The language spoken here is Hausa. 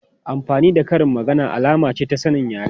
Amfani da karin magana alama ce ta sanin yare.